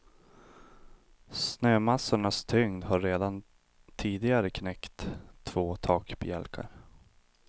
Snömassornas tyngd har redan tidigare knäckt två takbjälkar.